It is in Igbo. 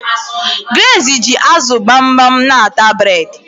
Grace ji azu gbamgbam n'ata bred